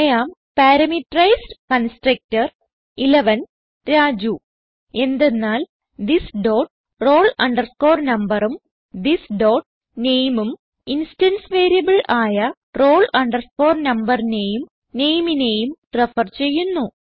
I am parameterized constructor Raju എന്തെന്നാൽ this dot roll numberഉം this dot nameഉം ഇൻസ്റ്റൻസ് വേരിയബിൾ ആയ roll numberനേയും nameനേയും റെഫർ ചെയ്യുന്നു